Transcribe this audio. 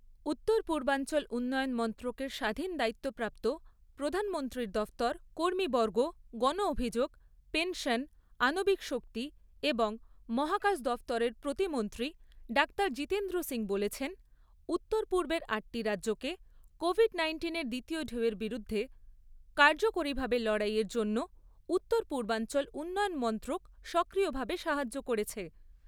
উত্তর পূর্বাঞ্চল উন্নয়ন মন্ত্রকের স্বাধীন দায়িত্বপ্রাপ্ত, প্রধানমন্ত্রীর দফতর, কর্মীবর্গ, গণ অভিযোগ, পেনশন, আণবিক শক্তি এবং মহাকাশ দফতরের প্রতিমন্ত্রী ডাক্তার জিতেন্দ্র সিং বলেছেন, উত্তর পূর্বের আটটি রাজ্যকে কোভিড নাইন্টিনের দ্বিতীয় ঢেউয়ের বিরুদ্ধে কার্যকরীভাবে লড়াইয়ের জন্য উত্তর পূর্বাঞ্চল উন্নয়ন মন্ত্রক সক্রিয়ভাবে সাহায্য করেছে।